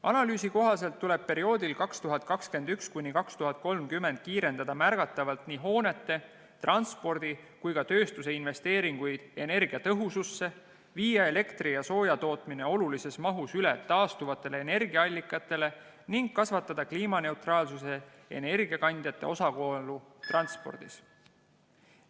Analüüsi kohaselt tuleb perioodil 2021–2030 kiirendada märgatavalt nii hoonete, transpordi kui ka tööstuse investeeringuid energiatõhususse, viia elektri ja sooja tootmine olulises mahus üle taastuvatele energiaallikatele ning kasvatada kliimaneutraalsuse energiakandjate osakaalu transpordis.